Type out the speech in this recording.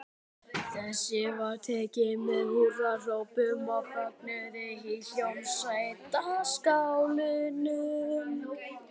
Þessu var tekið með húrrahrópum og fögnuði í Hljómskálanum.